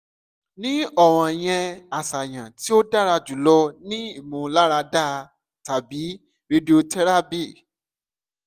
ni ọran yẹn aṣayan ti o dara julọ ni imularada tabi radiotherapy